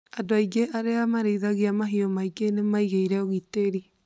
Andũ aingĩ arĩa marĩithagia mahiũ maingĩ nĩ maigĩre ũgitĩri